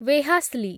ୱେହାଶ୍ଲି